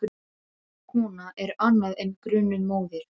Grunuð kona er annað en grunuð móðir.